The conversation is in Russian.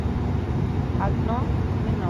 одно вино